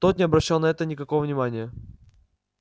тот не обращал на это никакого внимания